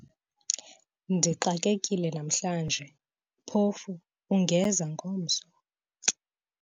ndixakekile namhlanje, phofu ungeza ngomso?